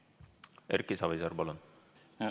Erki Savisaar, palun!